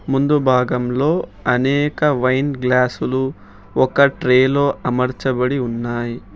ముందు భాగంలో అనేక వైన్ గ్లాసులు ఒక ట్రే లో అమర్చబడి ఉన్నాయి.